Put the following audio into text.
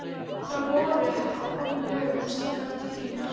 Þá voru ekki komin lög um slíkar tryggingar.